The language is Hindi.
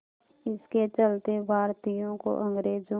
इसके चलते भारतीयों को अंग्रेज़ों